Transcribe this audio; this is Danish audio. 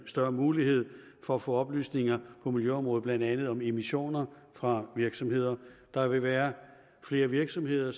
større mulighed for at få oplysninger på miljøområdet blandt andet om emissioner fra virksomheder der vil være flere virksomheder